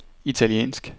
italiensk